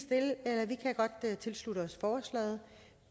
godt tilslutte os forslaget